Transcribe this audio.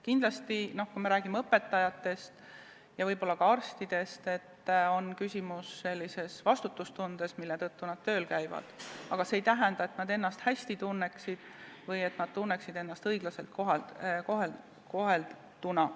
Kindlasti, kui me räägime õpetajatest ja võib-olla ka arstidest, siis on küsimus sellises vastutustundes, mille tõttu nad tööl käivad, aga see ei tähenda, et nad ennast hästi tunneksid või et nad tunneksid ennast õiglaselt kohelduna.